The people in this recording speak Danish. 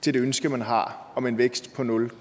til det ønske man har om en vækst på nul